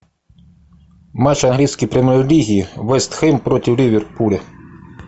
матч английской премьер лиги вест хэм против ливерпуля